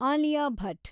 Alia Bhat